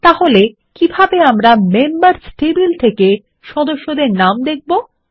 তাহলে কিভাবে আমরা মেম্বার্স টেবিলের সদস্যদের নাম দেখাতে 160